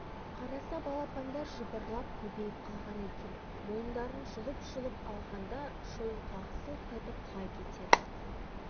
қараса балапандар жыбырлап көбейіп қалған екен мойындарын жұлып-жұлып алғанда шойынқұлақ сылқ етіп құлай кетеді